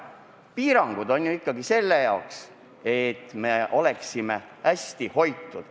Piirangud on ju ikkagi selle jaoks, et me oleksime hästi hoitud.